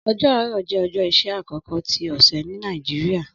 Ọjọ Aarọ jẹ ọjọ iṣẹ akọkọ ti ọsẹ ni Nigeria.